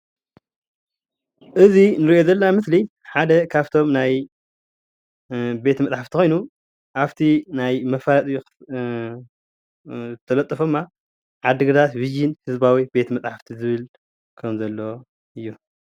እዚ እንሪኦ ዘለና ምስሊ ሓደ ካፍቶም ናይ ቤት መፅሓፍቲ ኾይኑ አፍቲ ናይ ዝተለጠፈ ድማ ዓድግራት ቪዠን ህዝባዊ ቤት መፅሓፍቲ ዝብል ከምዘሎ እዩ።